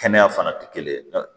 Kɛnɛya fana tɛ kelen ye